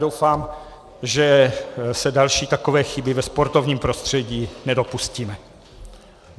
Doufám, že se další takové chyby ve sportovním prostředí nedopustíme.